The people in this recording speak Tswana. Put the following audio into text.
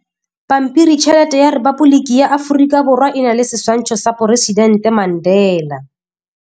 Pampiritšheletê ya Repaboliki ya Aforika Borwa e na le setshwantshô sa poresitentê Mandela.